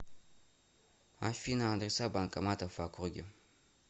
афина адреса банкоматов в округе